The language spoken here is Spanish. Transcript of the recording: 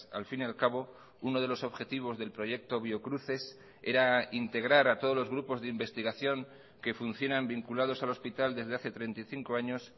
al fin y al cabo uno de los objetivos del proyecto biocruces era integrar a todos los grupos de investigación que funcionan vinculados al hospital desde hace treinta y cinco años